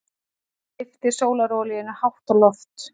Lyfti sólarolíunni hátt á loft.